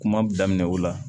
Kuma daminɛ o la